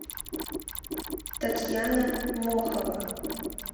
татьяна мохова